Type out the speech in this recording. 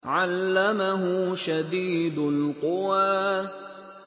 عَلَّمَهُ شَدِيدُ الْقُوَىٰ